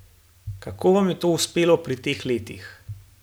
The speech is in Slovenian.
Kako vam je to uspelo pri teh letih?